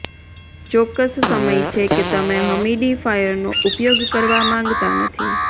ચોક્કસ સમય છે કે તમે હમિડિફાયરનો ઉપયોગ કરવા માંગતા નથી